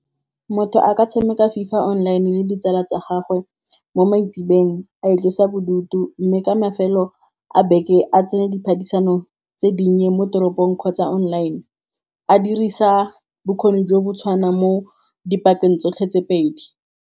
Motho a ka tshameka FIFA online le ditsala tsa gagwe mo maitsiboeng a itlosa bodutu. Mme ka mafelo a beke a tsene diphadisano tse dinnye mo teropong kgotsa online, a dirisa bokgoni jo bo tshwana mo dipateng tsotlhe tse pedi.